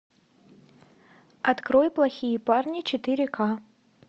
открой плохие парни четыре к